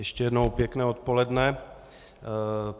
Ještě jednou pěkné odpoledne.